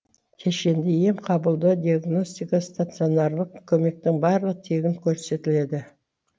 кешенді ем қабылдау диагностика стационарлық көмектің барлығы тегін көрсетіледі